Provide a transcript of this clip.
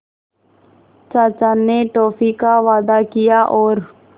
चाचा ने टॉफ़ी का वादा किया और